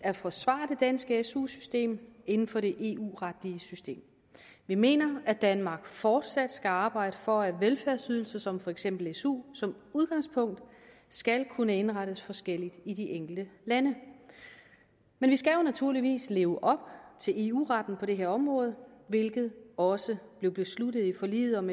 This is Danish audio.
at forsvare det danske su system inden for det eu retlige system vi mener at danmark fortsat skal arbejde for at velfærdsydelser som for eksempel su som udgangspunkt skal kunne indrettes forskelligt i de enkelte lande men vi skal jo naturligvis leve op til eu retten på det her område hvilket også blev besluttet i forliget om